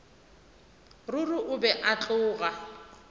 ruri o be a tloga